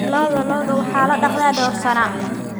Lo'da lo'da waxaa la dhaqdaa dhowr sano.